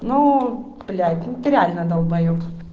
ну блять ты реально долбаеб